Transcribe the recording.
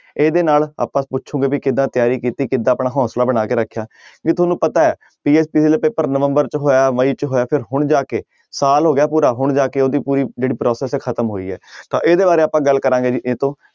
ਇਹਦੇ ਨਾਲ ਆਪਾਂ ਪੁੱਛਾਂਗੇ ਵੀ ਕਿੱਦਾਂ ਤਿਆਰੀ ਕੀਤੀ ਕਿੱਦਾਂ ਆਪਣਾ ਹੌਂਸਲਾ ਬਣਾ ਕੇ ਰੱਖਿਆ ਜੇ ਤੁਹਾਨੂੰ ਪਤਾ ਹੈ ਪੇਪਰ ਨਵੰਬਰ 'ਚ ਹੋਇਆ ਮਈ 'ਚ ਹੋਇਆ ਫਿਰ ਹੁਣ ਜਾ ਕੇ ਸਾਲ ਹੋ ਗਿਆ ਪੂਰਾ ਹੁਣ ਜਾ ਕੇ ਉਹਦੀ ਪੂਰੀ ਜਿਹੜੀ process ਹੈੈ ਖ਼ਤਮ ਹੋਈ ਹੈ ਤਾਂ ਇਹਦੇ ਬਾਰੇ ਆਪਾਂ ਗੱਲ ਕਰਾਂਗੇ ਜੀ ਇਹ ਤੋਂ